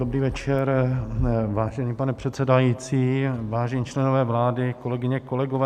Dobrý večer, vážený pane předsedající, vážení členové vlády, kolegyně, kolegové.